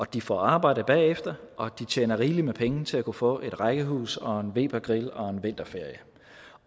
de får arbejde bagefter og at de tjener rigeligt med penge til at kunne få et rækkehus og en webergrill og en vinterferie